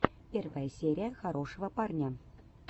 первая серия хорошего парня